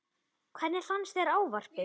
Helga: Hvernig fannst þér ávarpið?